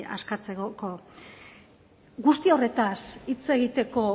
askatzeko guzti horretaz hitz egiteko